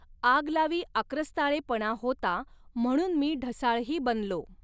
आगलावी आक्रस्ताळेपणा होता म्हणुन मी ढसाळ ही बनलो